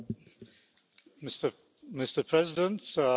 and you cannot decline any responsibility